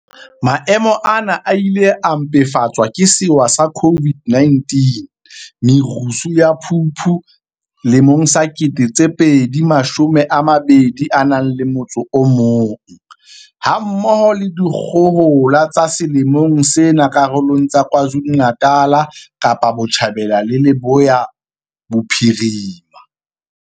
Maemo ana a ile a mpefatswa ke sewa sa COVID-19, merusu ya Phupu 2021, ha mmoho le dikgohola tsa selemong sena karolong tsa KwaZulu-Natal, Kapa Botjhabela le Leboya Bophirima.